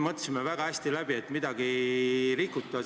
Mõtlesime väga hästi läbi, et midagi ei rikutaks.